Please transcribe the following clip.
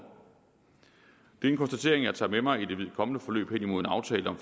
det er en konstatering jeg tager med mig i det kommende forløb hen imod en aftale om